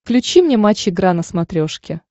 включи мне матч игра на смотрешке